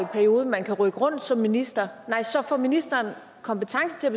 periode man kan rykke rundt som minister nej så får ministeren kompetence til at